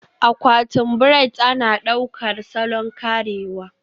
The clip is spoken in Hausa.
Akwatin braids ana ɗaukar salon karewa